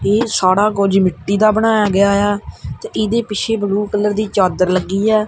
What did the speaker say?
ਇਹ ਸਾੜਾ ਕੁਝ ਮਿੱਟੀ ਦਾ ਬਣਾਇਆ ਗਿਆ ਏ ਆ ਤੇ ਇਹਦੇ ਪਿੱਛੇ ਬਲੂ ਕਲਰ ਦੀ ਚਾਦਰ ਲੱਗੀ ਐ।